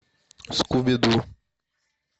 скуби ду